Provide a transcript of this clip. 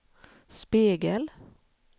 spegel